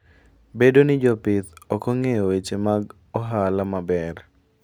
Bedo ni jopith ok ong'eyo weche mag ohala maber.